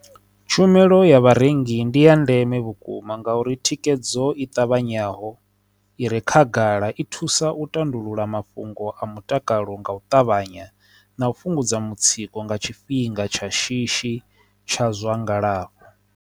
Tshumelo ya vharengi ndi ya ndeme vhukuma nga uri thikedzo i ṱavhanyaho ire khagala i thusa u tandulula mafhungo a mutakalo nga u ṱavhanya na u fhungudza mutsiko nga tshifhinga tsha shishi tsha zwa ngalafho.